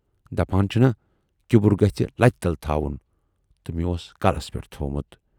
دپان چھِنا کِبُر گژھِ لتہِ تل تھاوُن تہٕ مے اوس کلس پٮ۪ٹھ تھوومُت۔